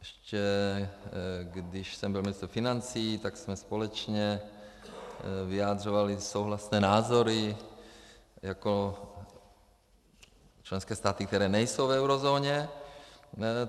Ještě když jsem byl ministr financí, tak jsme společně vyjadřovali souhlasné názory jako členské státy, které nejsou v eurozóně.